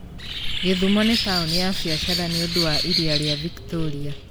Gĩthumo nĩ taũni ya biashara nĩ ũndũ wa iria rĩa Victoria.